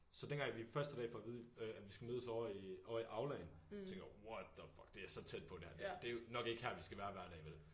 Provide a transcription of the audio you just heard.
Så dengang vi første dag for at vide øh at vi skal mødes ovre i ovre i aulaen tænker jeg what the fuck det er så tæt på det her det er jo nok ikke her vi skal være hver dag vel